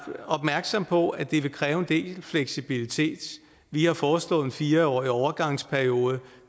opmærksomme på at det vil kræve en del fleksibilitet vi har foreslået en fire årig overgangsperiode